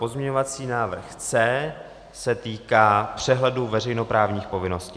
Pozměňovací návrh C se týká přehledu veřejnoprávních povinností.